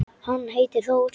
Hann heitir Þór.